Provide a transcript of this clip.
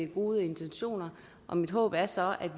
gode intentioner og mit håb er så at